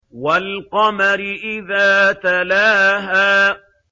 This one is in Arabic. وَالْقَمَرِ إِذَا تَلَاهَا